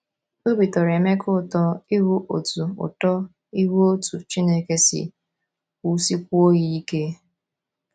Obi tọrọ Emeka ụtọ ịhụ otú ụtọ ịhụ otú Chineke si wusikwuo ya ike.